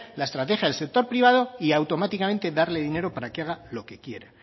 la estrategia del sector privado y automáticamente darle dinero para que haga lo que quiera